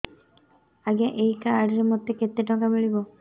ଆଜ୍ଞା ଏଇ କାର୍ଡ ରେ ମୋତେ କେତେ ଟଙ୍କା ମିଳିବ